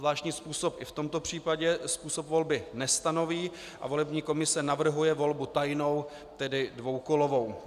Zvláštní zákon ani v tomto případě způsob volby nestanoví a volební komise navrhuje volbu tajnou, tedy dvoukolovou.